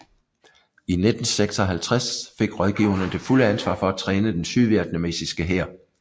I 1956 fik rådgiverne det fulde ansvar for at træne den sydvietnamesiske hær